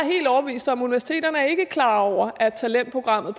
klar over at talentprogrammet